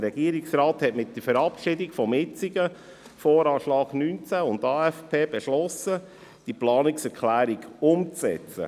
Der Regierungsrat hat mit der Verabschiedung des jetzigen VA 2019 und AFP beschlossen, diese Planungserklärung umzusetzen.